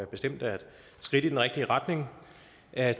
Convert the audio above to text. bestemt er et skridt i den rigtige retning at